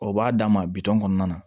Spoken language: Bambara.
O b'a d'an ma bitɔn kɔnɔna na